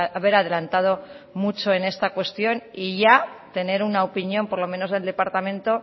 haber adelantado mucho en esta cuestión y ya tener una opinión por lo menos del departamento